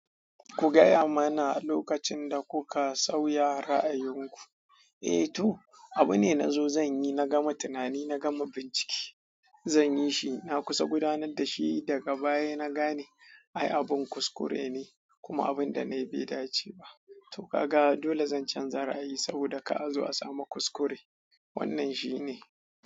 Ku gaya mana lokacin da kuka sauya ra'ayinku. Eh to, abune na zo zan yi, na gama tunani, na gama bincike. Zanyi shi na kusa gudanar dashi, daga baya na gane ai abun kuskure ne kuma abun danayi bai dace ba to kaga dole zan canza ra'ayi saboda kar azo a samu kuskure. Wannan shi ne.